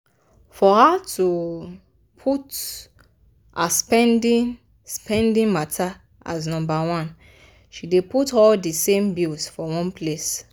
for her to put her spendi-spendi matter as nombaone she dey put all di same bills for one place.